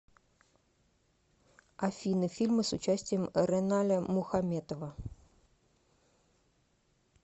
афина фильмы с участием реналя мухаметова